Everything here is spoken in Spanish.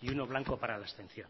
y uno blanco para la abstención